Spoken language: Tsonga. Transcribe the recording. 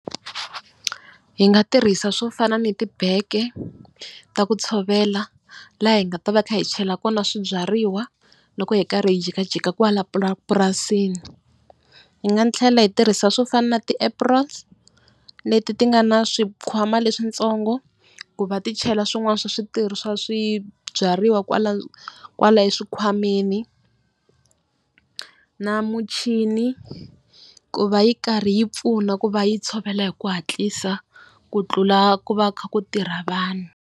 Hi nga tirhisa swo fana ni tibeke ta ku tshovela laha hi nga ta va hi kha hi chela kona swibyariwa loko hi karhi hi jikajika kwala pura purasini. Yi nga tlhela hi tirhisa swo fana na ti-aprons leti ti nga na swikhwama leswitsongo ku va ti chela swin'wana swa switirho swa swibyariwa kwala, kwala exikhwameni. Na muchini ku va yi karhi yi pfuna ku va yi tshovela hi ku hatlisa ku tlula ku va kha ku tirha vanhu.